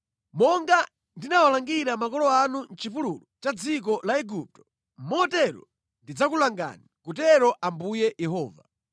Monga ndinawalangira makolo anu mʼchipululu cha dziko la Igupto, motero ndidzakulangani, akutero Ambuye Yehova.